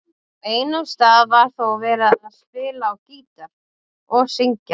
Á einum stað var þó verið að spila á gítar og syngja.